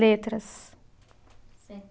Letras.